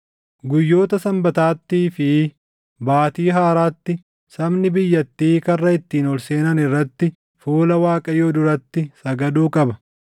Guyyoota Sanbataattii fi Baatii Haaraatti sabni biyyattii karra ittiin ol seenan irratti fuula Waaqayyoo duratti sagaduu qaba.